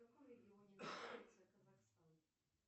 в каком регионе находится казахстан